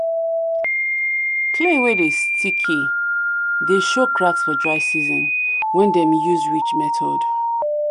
clay wey dey sticky dey show cracks for dry season when dem use ridge method.